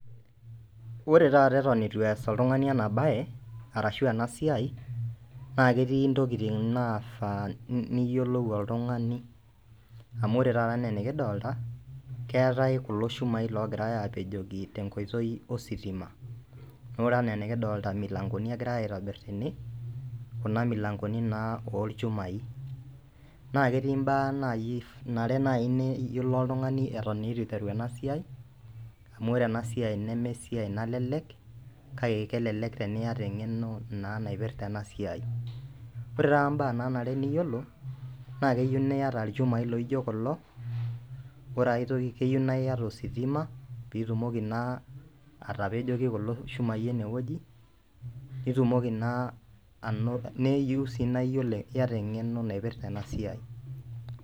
Ore taata Eton ieitu ees oltung'ani ena bae arashu ena siai naa ketii intokin naifaa niyiolou oltung'ani amu ore taata ena enikidolita keetae kulo shumai logira apejoki tenkoitoi ositima naa ore ena enikidolita imilankoni egirai aitobir tene kuna milankoni naa olchumai. Naa ketii ibaa naa nare naji niyiolou oltung'ani Eton eitu iteru ena siai amu ore ena siai neme esiai nalelek kale kelelek teniyata eng'eno naa naipirta ena siai. Ore taata ibaa naa are niyiolo naa keyeu niyata olchumai loino kulo ore aitoki keyeu niyata ositima pitumoki naa atapejoki kulo shumai eneweji nitumoki naa anoto niyeu sii niyata eng'eno naipirta ena siai.